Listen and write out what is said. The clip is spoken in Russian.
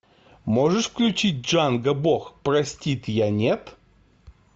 можешь включить джанго бог простит я нет